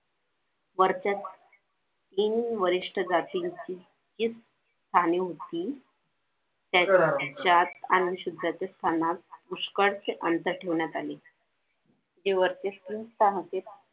वरच्या तीन वरिष्ठ जातींची हीच कामे होती त्याच्यात पुष्कळ ठेवण्यात आली हे वरचे तीन होते